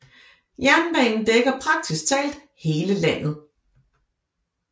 Jernbanen dækker praktisk talt hele landet